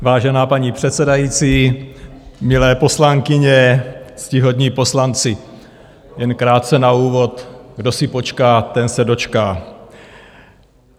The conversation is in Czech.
Vážená paní předsedající, milé poslankyně, ctihodní poslanci, jen krátce na úvod: kdo si počká, ten se dočká.